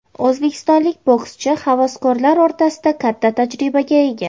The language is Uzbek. O‘zbekistonlik bokschi havaskorlar o‘rtasida katta tajribaga ega.